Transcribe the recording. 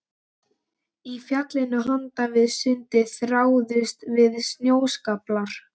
Í fjallinu handan við sundið þráuðust við snjóskaflar.